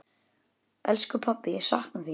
Elsku pabbi, ég sakna þín.